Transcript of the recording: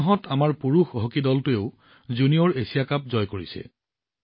সেই মাহতে আমাৰ পুৰুষ হকী দলটোৱেও জুনিয়ৰ এছিয়া কাপ জয় কৰিছে